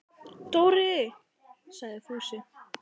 Dóri! sagði Fúsi.